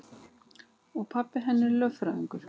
Og pabbi hennar lögfræðingur.